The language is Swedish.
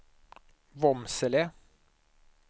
Vormsele